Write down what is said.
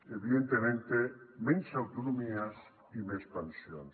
evidentemente menys autonomies i més pensions